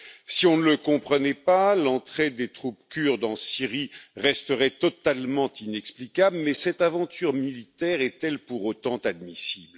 Si on ne le comprenait pas, l'entrée des troupes turques en Syrie resterait totalement inexplicable, mais cette aventure militaire est elle pour autant admissible?